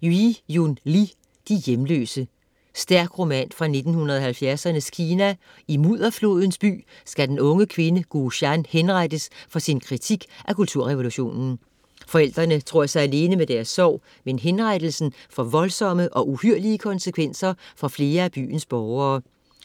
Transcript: Li, Yiyun: De hjemløse Stærk roman fra 1970'ernes Kina; i Mudderflodens By skal den unge kvinde Gu Shan henrettes for sin kritik af Kulturrevolutionen. Forældrene tror sig alene med deres sorg, men henrettelsen får voldsomme og uhyrlige konsekvenser for flere af byens borgere.